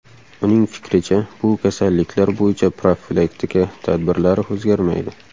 Uning fikricha, bu kasalliklar bo‘yicha profilaktika tadbirlari o‘zgarmaydi.